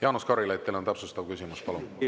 Jaanus Karilaid, teil on täpsustav küsimus, palun!